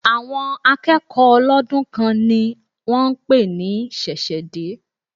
Àwọn akẹ́kọ̀ọ́ ọlọ́dún kan ni wón ń pè ní ṣẹ̀ṣẹ̀ dé.